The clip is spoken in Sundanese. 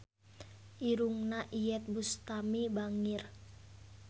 Irungna Iyeth Bustami bangir